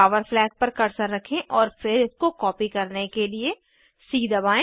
power flag पर cursor रखें और फिर इसको कॉपी करने के लिए सी दबाएं